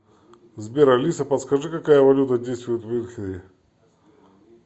сбер алиса подскажи какая валюта действует в мюнхене